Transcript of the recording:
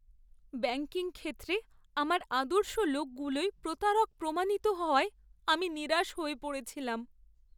Banking ক্ষেত্রে আমার আদর্শ লোকগুলোই প্রতারক প্রমাণিত হওয়ায় আমি নিরাশ হয়ে পড়েছিলাম।